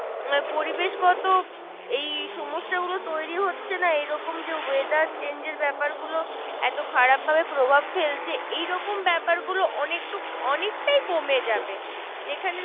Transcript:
পরিবেশ গত এই সমস্যা গুলো তৈরী হচ্ছে না? এইরকম যে weather change এর ব্যাপার গুলো এত খারাপ ভাবে প্রভাব ফেলছে। এইরকম ব্যাপার গুলো অনেক টুকু অনেকটাই কমে যাবে যেখানে